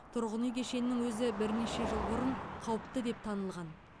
тұрғын үй кешенінің өзі бірнеше жыл бұрын қауіпті деп танылған